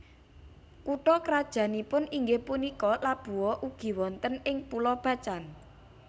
Kutha krajannipun inggih punika Labuha ugi wonten ing Pulo Bacan